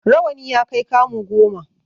Rawani ya kai kamu goma.